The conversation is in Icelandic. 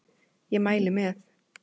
Ég mæli með!